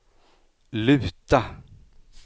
luta